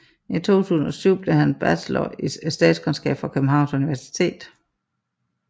I 2007 blev han bachelor i statskundskab fra Københavns Universitet